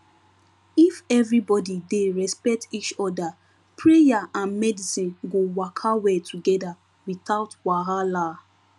if everybody dey respect each other prayer and medicine go waka well together without wahala